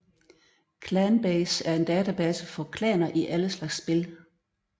ClanBase er en database for klaner i alle slags spil